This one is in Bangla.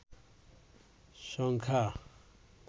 সংখ্যা